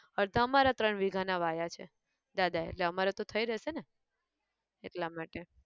અડધા અમારા ત્રણ વીઘા ના વાયા છે, દાદાએ એટલે અમારે તો થઇ રેહશે ને! એટલા માટે.